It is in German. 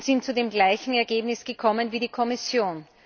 Dabei sind wir zu dem gleichen Ergebnis gekommen wie die Kommission.